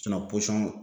posɔn